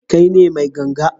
Kai ne mai ganga?